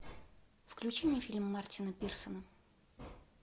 включи мне фильм мартина пирсона